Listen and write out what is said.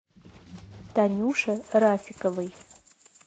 танюше рафиковой